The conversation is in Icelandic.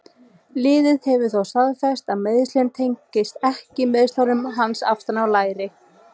Liðið hefur þó staðfest að meiðslin tengist ekki meiðslum hans aftan í læri.